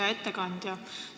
Hea ettekandja!